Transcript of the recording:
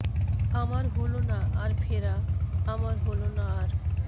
আমার হলো না আর ফেরা আমার হলো না আর